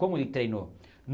Como ele treinou?